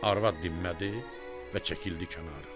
Arvad dinmədi və çəkildi kənara.